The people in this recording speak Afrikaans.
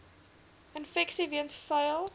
infeksies weens vuil